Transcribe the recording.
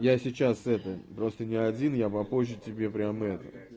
я сейчас это просто не один я попозже тебе прямо это